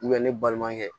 ne balimakɛ